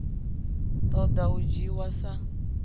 ṱo ḓa u dzhiwa sa